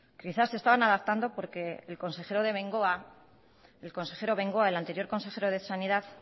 quizá se estaban adaptando porque el consejero bengoa el anterior consejero de sanidad